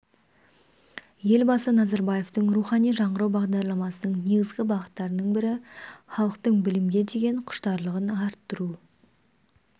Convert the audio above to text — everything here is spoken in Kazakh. елбасы назарбаевтың рухани жаңғыру бағдарламасының негізгі бағыттарының бірі халықтың білімге деген құштарлығын арттыру